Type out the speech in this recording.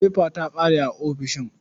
Fefa ta ƙare a ofishin.